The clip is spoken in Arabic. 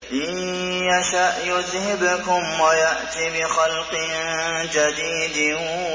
إِن يَشَأْ يُذْهِبْكُمْ وَيَأْتِ بِخَلْقٍ جَدِيدٍ